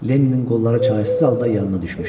Lenninin qolları çarəsiz halda yanına düşmüşdü.